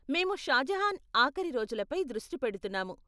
మేము షాజహాన్ ఆఖరి రోజులపై దృష్టి పెడుతున్నాము.